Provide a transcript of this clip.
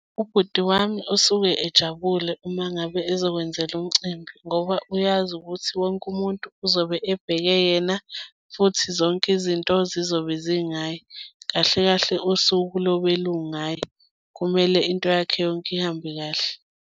Ubhuti wami usuke ejabule uma ngabe ezokwenzelwa umcimbi, ngoba uyazi ukuthi wonke umuntu uzobe ebheke yena, futhi zonke izinto zizobe zingaye, kahle kahle usuku lobe lungaye, kumele into yakhe yonke ihambe kahle.